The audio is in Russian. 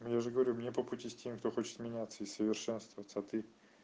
ну я же говорю мне по пути с теми кто хочет меняться и совершенствоваться а ты